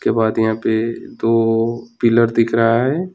के बाद यहां पे दो पिलर दिख रहा है।